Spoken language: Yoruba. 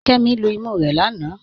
Kẹmi lú ìmú rẹ̀ lánà.